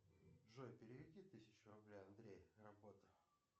джой переведи тысячу рублей андрей работа